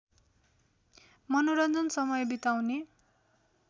मनोरञ्जन समय बिताउने